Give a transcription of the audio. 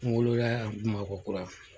wolo yan BAMAKƆKURA.